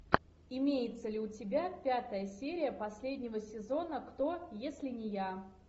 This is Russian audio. имеется ли у тебя пятая серия последнего сезона кто если не я